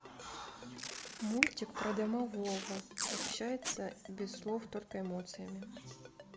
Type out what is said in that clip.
мультик про домового общается без слов только эмоциями